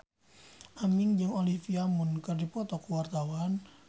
Aming jeung Olivia Munn keur dipoto ku wartawan